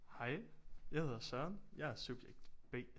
Hej jeg hedder Søren jeg er subjekt B